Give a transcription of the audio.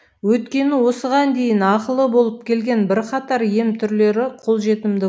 өйткені осыған дейін ақылы болып келген бірқатар ем түрлері қолжетімді